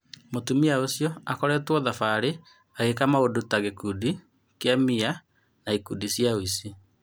Mũtumia ũcio akoretwo thabarĩ, agĩka maũndũ ta gĩkundi kia MIA na ikundi cia ũici.